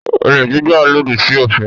Olè jíjà lòdì sí òfin.